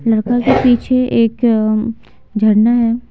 लड़का के पीछे एक झरना है।